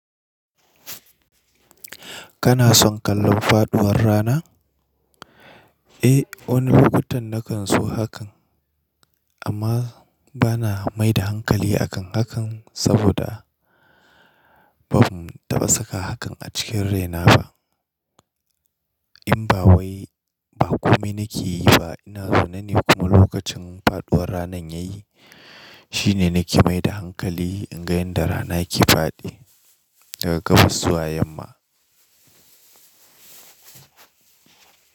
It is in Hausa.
Kana son kallon faɗuwar rana? Eh, wani lokutan na kan so hakan amma bana mai da hankali a kan hakan saboda ban taɓa saka hakan a cikin raina ba. In ba wai ba kome nake yi ba. Ina zaune ne kuma lokacin faɗuwar rana ya yi shi ne nake mai da hankali in ga yadda rana ke faɗi daga gabas zuwa yamma.